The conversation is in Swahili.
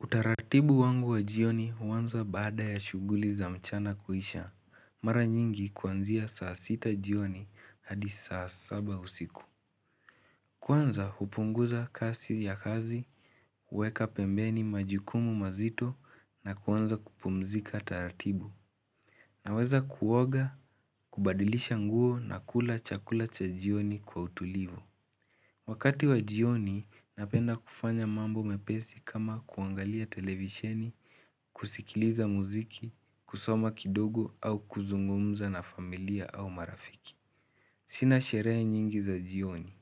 Utaratibu wangu wa jioni huanza baada ya shughuli za mchana kuisha. Mara nyingi kuanzia saa sita jioni hadi saa saba usiku. Kuanza upunguza kasi ya kazi, huweka pembeni majukumu mazito na kuanza kupumzika taratibu. Naweza kuoga, kubadilisha nguo na kula chakula cha jioni kwa utulivo. Wakati wa jioni, napenda kufanya mambo mepesi kama kuangalia televisheni, kusikiliza muziki, kusoma kidogo au kuzungumza na familia au marafiki. Sina sherehe nyingi za jioni,